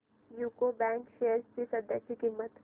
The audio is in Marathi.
यूको बँक शेअर्स ची सध्याची किंमत